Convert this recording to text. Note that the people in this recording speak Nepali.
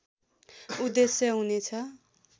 उद्धेश्य हुने छ